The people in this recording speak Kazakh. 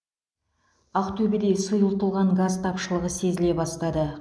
ақтөбеде сұйытылған газ тапшылығы сезіле бастады